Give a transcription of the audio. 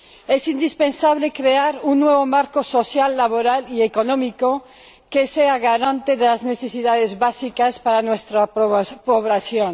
Es indispensable crear un nuevo marco social, laboral y económico que sea garante de las necesidades básicas de nuestra población.